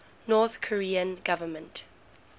north korean government